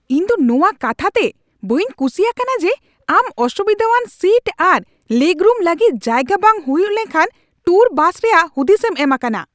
ᱤᱧ ᱫᱚ ᱱᱚᱣᱟ ᱠᱟᱛᱷᱟ ᱛᱮ ᱵᱟᱹᱧ ᱠᱩᱥᱤ ᱟᱠᱟᱱᱟ ᱡᱮ ᱟᱢ ᱚᱥᱩᱵᱤᱫᱟᱣᱟᱱ ᱥᱤᱴ ᱟᱨ ᱞᱮᱜᱽᱨᱩᱢ ᱞᱟᱹᱜᱤᱫᱽ ᱡᱟᱭᱜᱟ ᱵᱟᱝ ᱦᱩᱭᱩᱜ ᱞᱮᱠᱟᱱ ᱴᱩᱨ ᱵᱟᱥ ᱨᱮᱭᱟᱜ ᱦᱩᱫᱤᱥᱮᱢ ᱮᱢ ᱟᱠᱟᱱᱟ ᱾